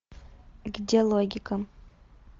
где логика